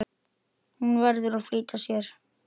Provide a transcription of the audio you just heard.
Hún verður að flýta sér.